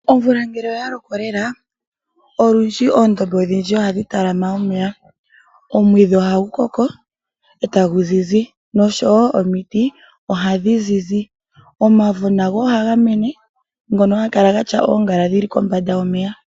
Omvula ngele oya loko lela, olundji oondombe odhindji ohadhi talama omeya. Omwiidhi ohagu koko ,etagu zizi nosho woo omiti ohadhi zizi. Omavo nago ohaga mene ngono ha ga kala gatya oongaala dhili kombanda yomeya.